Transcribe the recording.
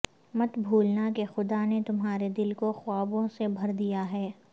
مت بھولنا کہ خدا نے تمہارے دل کو خوابوں سے بھر دیا ہے